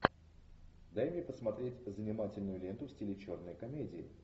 дай мне посмотреть занимательную ленту в стиле черной комедии